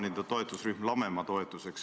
Nüüd te ütlete, et pikemas perspektiivis.